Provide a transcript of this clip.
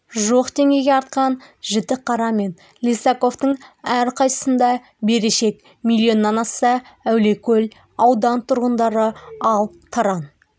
жуық теңгеге артқан жітіқара мен лисаковтың әрқайсысында берешек миллионнан асса әулиекөл ауданы тұрғындары ал таран